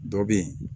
Dɔ bɛ yen